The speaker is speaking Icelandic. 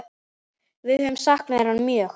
Við höfum saknað hennar mjög.